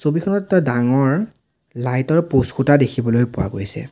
ছবিখনত এটা ডাঙৰ লাইট ৰ পোষ্ট খুঁটা দেখিবলৈ পোৱা গৈছে।